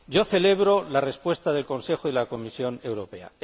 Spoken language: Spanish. Celebro la respuesta del Consejo y de la Comisión Europea